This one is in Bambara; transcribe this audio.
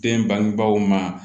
Den bangebaaw ma